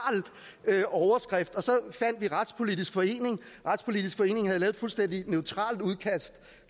overskrift og så fandt vi retspolitisk forening retspolitisk forening havde lavet et fuldstændig neutralt udkast